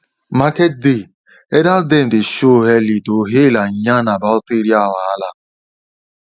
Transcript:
market day elder dem dey show early to hail and yarn about area wahala